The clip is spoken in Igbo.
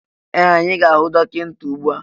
Ee! Anyị ga-ahụ dọkịta ugbu a.